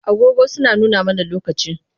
Agogo suna nuna mana lokaci